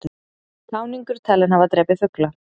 Táningur talinn hafa drepið fugla